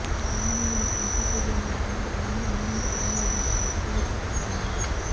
తెలంగాణ లోని ఏపీ ప్రజలందరూ తమకు ఎలాంటి అన్యాయం జరుగడంలేదని బయటకువచ్చి చెప్పాలన్నారు